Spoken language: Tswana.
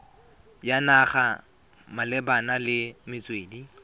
ya naga malebana le metswedi